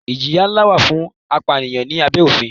Ìjìyà ńlá wà fún apànìyàn ní abẹ́ òfin.